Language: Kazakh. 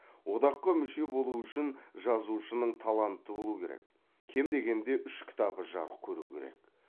одаққа мүше болу үшін жазушының таланты болу керек кем дегенде үш кітабы жарық көру керек